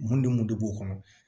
Mun ni mun de b'o kɔnɔ